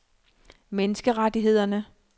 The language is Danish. menneskerettighederne